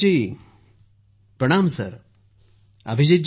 अभिजीत जीः प्रणाम सर ।